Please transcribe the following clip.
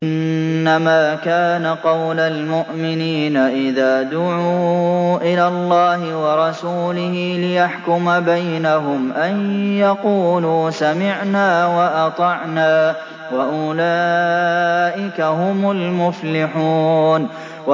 إِنَّمَا كَانَ قَوْلَ الْمُؤْمِنِينَ إِذَا دُعُوا إِلَى اللَّهِ وَرَسُولِهِ لِيَحْكُمَ بَيْنَهُمْ أَن يَقُولُوا سَمِعْنَا وَأَطَعْنَا ۚ وَأُولَٰئِكَ هُمُ الْمُفْلِحُونَ